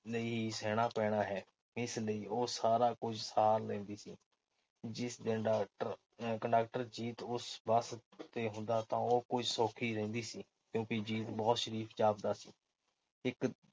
ਲਈ ਸਹਿਣਾ ਪੈਣਾ ਹੈ। ਇਸ ਲਈ ਉਹ ਸਾਰਾ ਕੁਝ ਸਾਰ ਲੈਂਦੀ ਸੀ। ਜਿਸ ਦਿਨ ਡਾਕਟ ਅਹ ਕੰਡਕਟਰ ਜੀਤ ਉਸ ਬੱਸ ਤੇ ਹੁੰਦਾ ਤਾਂ ਉਹ ਕੁਝ ਸੌਖੀ ਰਹਿੰਦੀ ਸੀ ਕਿਉਂ ਕਿ ਜੀਤ ਬਹੁਤ ਸ਼ਰੀਫ਼ ਜਾਪਦਾ ਸੀ। ਇੱਕ